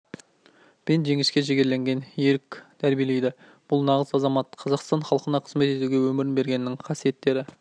пен жеңіске жігерленген ерік тәрбиелейді бұл нағыз азамат қазақстан халқына қызмет етуге өмірін бергеннің қасиеттері